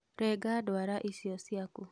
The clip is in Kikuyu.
Renga ndwara icio ciaku